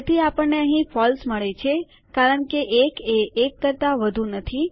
તેથી આપણને અહીં ફોલ્સ મળે છે કારણ કે 1 એ 1 કરતાં વધુ નથી